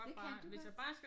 Det kan du godt?